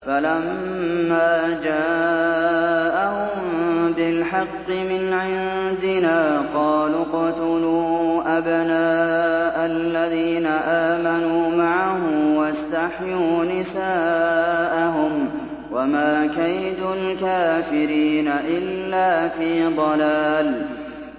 فَلَمَّا جَاءَهُم بِالْحَقِّ مِنْ عِندِنَا قَالُوا اقْتُلُوا أَبْنَاءَ الَّذِينَ آمَنُوا مَعَهُ وَاسْتَحْيُوا نِسَاءَهُمْ ۚ وَمَا كَيْدُ الْكَافِرِينَ إِلَّا فِي ضَلَالٍ